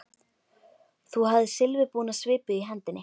Þú hafðir silfurbúna svipu í hendinni.